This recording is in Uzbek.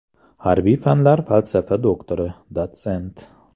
Harbiy fanlar falsafa doktori, dotsent.